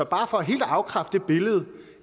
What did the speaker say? bare for helt at afkræfte det billede